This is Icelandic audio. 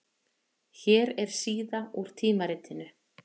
Hér er síða úr tímaritinu.